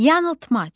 Yanıltmac.